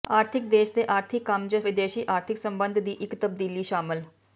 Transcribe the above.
ਆਰਥਿਕ ਦੇਸ਼ ਦੇ ਆਰਥਿਕ ਕੰਮ ਜ ਵਿਦੇਸ਼ੀ ਆਰਥਿਕ ਸੰਬੰਧ ਦੀ ਇੱਕ ਤਬਦੀਲੀ ਸ਼ਾਮਲ